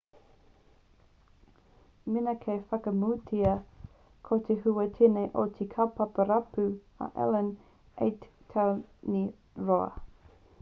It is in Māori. mēnā ka whakapūmautia ko te hua tēnei o te kaupapa rapu a allan 8 tau nei te roa